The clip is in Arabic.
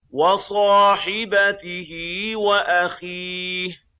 وَصَاحِبَتِهِ وَأَخِيهِ